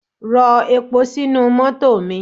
Rọ epo sínú mọ́tò mi!